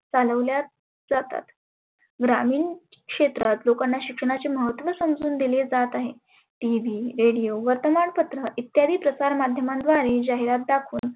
चालवल्या जातात. ग्रामिन क्षेत्रात लोकांना शिक्षणाचे महत्व समजुन दिले जात आहे. TV radio वर्तमानपत्र इत्यादी प्रसार माध्यमांद्वारे जाहिरात दाखवून